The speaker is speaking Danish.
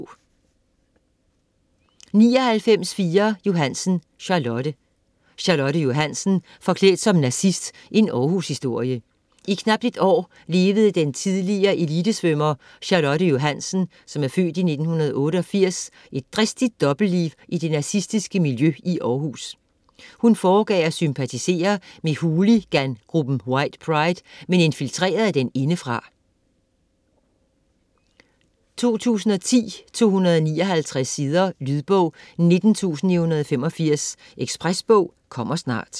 99.4 Johannsen, Charlotte Johannsen, Charlotte: Forklædt som nazist: en Århushistorie I knapt et år levede den tidlige elitesvømmer Charlotte Johannsen (f. 1988) et dristigt dobbeltliv i det nazistiske miljø i Århus. Hun foregav at sympatisere med hooligangruppen White Pride, men infiltrerede den indefra. 2010, 259 sider. Lydbog 19985 Ekspresbog - kommer snart